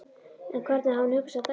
En hvernig hafði hún hugsað dæmið?